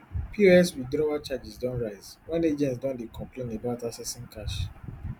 pos withdrawal charges don rise wen agents don dey complain about accessing cash